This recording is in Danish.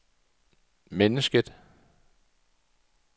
mennesket